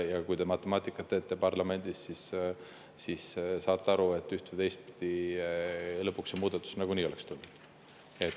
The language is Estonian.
Ja kui te parlamendis matemaatikat teete, siis te saate aru, et üht- või teistpidi lõpuks see muudatus nagunii oleks tulnud.